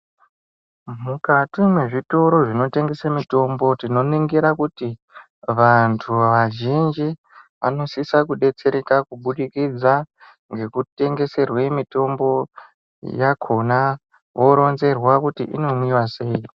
Mukati mwezvitoro zvinotengese mitombo tinoningira kuti vantu vazhinji vanosise kudetsereka kubudikidza ngekutengeserwe mitombo yakhona voronzerwa kuti inomwiwa sei.